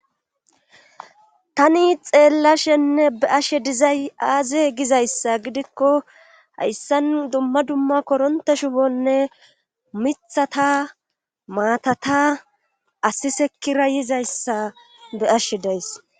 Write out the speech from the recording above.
Tani xeellashenne be ashe dizay aaze gizayssa gidikko hayssan dumma dumma koronta shubonne mithata maatata asisekkira yizayssa be ashshe days.